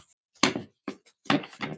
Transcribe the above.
Það er ekki nú?